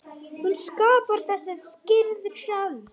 Hún skapar þessa kyrrð sjálf.